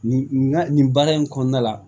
Nin nin baara in kɔnɔna la